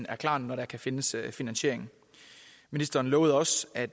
er klar når der kan findes finansiering ministeren lovede også at